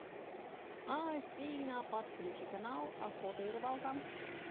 афина подключи канал охота и рыбалка